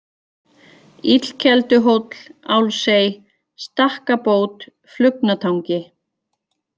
Illkelduhóll, Álsey, Stakkabót, Flugnatangi